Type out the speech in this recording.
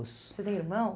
Você tem irmão?